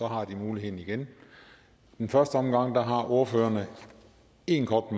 har de muligheden igen i første omgang har ordførerne én kort